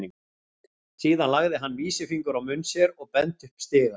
Síðan lagði hann vísifingur á munn sér og benti upp stigann.